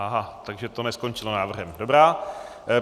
Aha, takže to neskončilo návrhem. Dobrá.